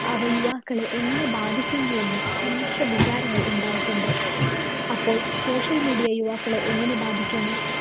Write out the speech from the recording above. അവ യുവാക്കളെ എങ്ങനെ ബാധിക്കുന്നുവെന്നും സമ്മിശ്ര വികാരങ്ങൾ ഉണ്ടായിട്ടുണ്ട്. അപ്പോള്‍ social media യുവാക്കളെ എങ്ങിനെ ബാധിക്കുന്നു?